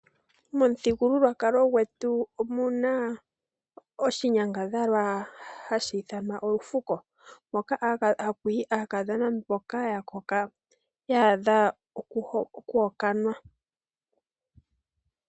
Momuthigululwakalo gwetu omuna oshinyangadhalwa hashi ithanwa Olufuko, hoka haku yi aakadhona mboka ya koka. Ya adha okuhokanwa.